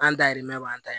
An dayirimɛ b'an ta ye